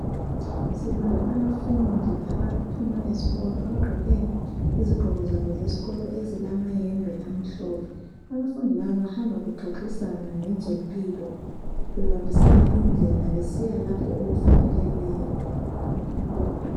Sibona abafundi abaphuma esikolo abagqoke izigqoko zabo zesikolo ezilamayembe amhlophe. Abafundi laba bahamba bexoxisana ngezempilo bebambisana indlela besiya lapho okufanele bayekhona.